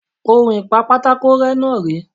On ìpa pátákó rẹ́ náà rèé.